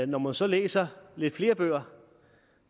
når man så læser flere bøger